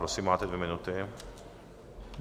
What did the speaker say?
Prosím, máte dvě minuty.